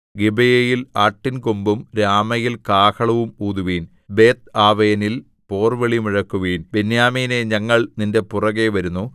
ഗിബെയയിൽ ആട്ടിൻകൊമ്പും രാമയിൽ കാഹളവും ഊതുവിൻ ബേത്ത്ആവെനിൽ പോർവിളി മുഴക്കുവിൻ ബെന്യാമീനേ ഞങ്ങൾ നിന്റെ പിറകെ വരുന്നു